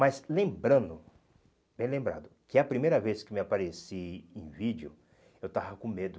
Mas lembrando, bem lembrado, que a primeira vez que me apareci em vídeo, eu estava com medo.